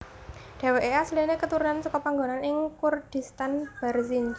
Dheweke asline keturunan seka panggonan ing Kurdistan Barzinj